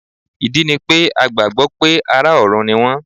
Ìdí ni pé a gbàgbọ́ pé ará ọ̀run ni wọ́n.